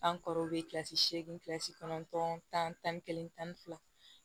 An kɔrɔw bɛ kilasi seegin kɔnɔntɔn tan ni kelen tan ni fila